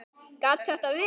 Gat þetta verið?